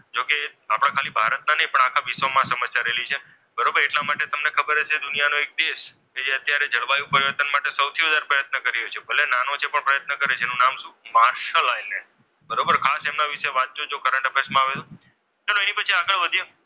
કરેલી છે. બરોબર એટલા માટે તમને ખબર હશે કે દુનિયાનો એક દેશ કે જે અત્યારે જળવાયું પરિવર્તન માટે સૌથી વધારે પ્રયત્ન કરી છે. ભલે નાનો છે, પણ પ્રયત્ન કરે છે. એનું નામ શું? Marshall island. બરોબર ખાસ એમના વિશે વાંચજો કરંટ અફેર્સમાં આવે તો. ચાલો એના પછી આગળ વધીએ.